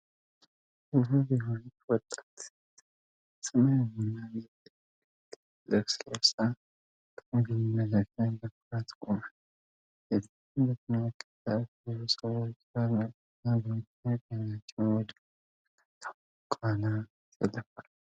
ውብ የሆነች ወጣት ሴት ሰማያዊና ነጭ የጨርቅ ድብልቅ ልብስ ለብሳ በሞዴሊንግ መድረክ ላይ በኩራት ቆማለች። ሴቲቱን የተመለከቱት ብዙዎቹ ሰዎች በአድናቆትና በመደነቅ አይናቸውን ወደ ላይ አንጋጠው ከኋላዋ ይሰለፋሉ።